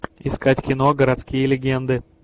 искать кино городские легенды